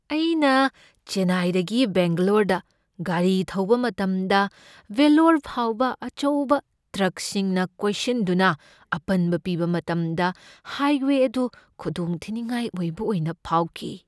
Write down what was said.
ꯑꯩꯅ ꯆꯦꯟꯅꯥꯏꯗꯒꯤ ꯕꯦꯡꯒꯂꯣꯔꯗ ꯒꯥꯔꯤ ꯊꯧꯕ ꯃꯇꯝꯗ ꯚꯦꯜꯂꯣꯔ ꯐꯥꯎꯕ ꯑꯆꯧꯕ ꯇ꯭ꯔꯛꯁꯤꯡꯅ ꯀꯣꯏꯁꯤꯟꯗꯨꯅ ꯑꯄꯟꯕ ꯄꯤꯕ ꯃꯇꯝꯗ ꯍꯥꯏꯋꯦ ꯑꯗꯨ ꯈꯨꯗꯣꯡꯊꯤꯅꯤꯡꯉꯥꯏ ꯑꯣꯏꯕ ꯑꯣꯏꯅ ꯐꯥꯎꯈꯤ꯫